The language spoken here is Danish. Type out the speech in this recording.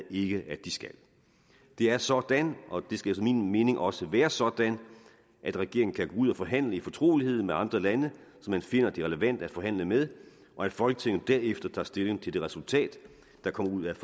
ikke at de skal det er sådan og det skal efter min mening også være sådan at regeringen kan gå ud og forhandle i fortrolighed med andre lande som man finder det relevant at forhandle med og at folketinget derefter tager stilling til det resultat der kommer ud af